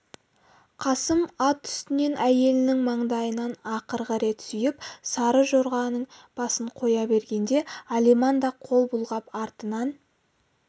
қасым ат үстінен әйелінің маңдайынан ақырғы рет сүйіп сары жорғаның басын қоя бергенде алиман да қол бұлғап артынан